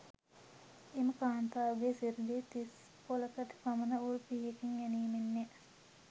එම කාන්තාවගේ සිරුරේ තිස්පොළකට පමණ උල් පිහියකින් ඇනීමෙන්ය.